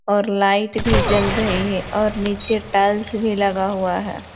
और लाइट भी जल रही है और नीचे टाइल्स भी लगा हुआ है।